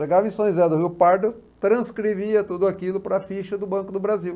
Chegava em São José do Rio Pardo, transcrevia tudo aquilo para a ficha do Banco do Brasil.